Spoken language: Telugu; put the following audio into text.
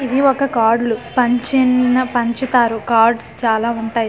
ఇది ఒక కార్డ్లు పంచిన్ న పంచుతారు కార్డ్స్ చాలవుంటాయి ఇందులో వె--